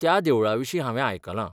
त्या देवळा विशीं हांवें आयकलां.